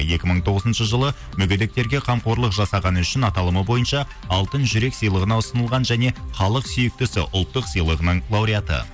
екі мың тоғызыншы жылы мүгедектерге қамқорлық жасағаны үшін аталымы бойынша алтын жүрек сыйлығына ұсынылған және халық сүйіктісі ұлттық сыйлығының лауреаты